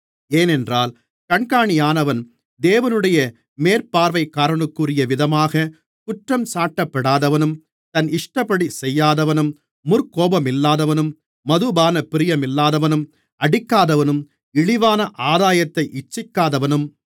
ஏனென்றால் கண்காணியானவன் தேவனுடைய மேற்பார்வைக்காரனுக்குரியவிதமாக குற்றஞ்சாட்டப்படாதவனும் தன் இஷ்டப்படி செய்யாதவனும் முற்கோபமில்லாதவனும் மதுபானப்பிரியமில்லாதவனும் அடிக்காதவனும் இழிவான ஆதாயத்தை இச்சிக்காதவனும்